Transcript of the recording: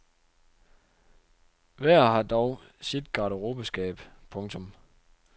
Hver har dog sit garderobeskab. punktum